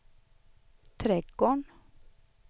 trädgården